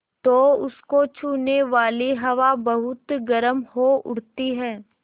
तो उसको छूने वाली हवा बहुत गर्म हो उठती है